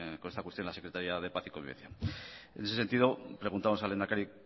con esta cuestión la secretaría de paz y convivencia en ese sentido le preguntamos al lehendakari